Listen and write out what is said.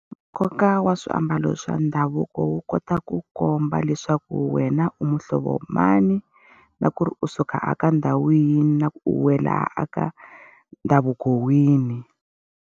Nkoka wa swiambalo swa ndhavuko wu kota ku komba leswaku wena u muhlovo mani, na ku ri u suka a ka ndhawu yihi, na ku u wela eka ndhavuko wihi.